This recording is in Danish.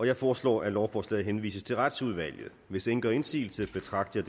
jeg foreslår at lovforslaget henvises til retsudvalget hvis ingen gør indsigelse betragter